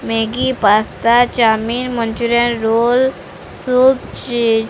Maggi pasta chowmein manchurian roll soup ଚି --